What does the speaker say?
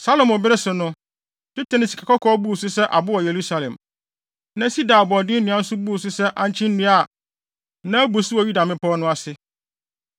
Salomo bere so no, dwetɛ ne sikakɔkɔɔ buu so sɛ abo wɔ Yerusalem. Na sida aboɔden nnua nso buu so sɛ ankye nnua a na abu so wɔ Yuda mmepɔw no ase no.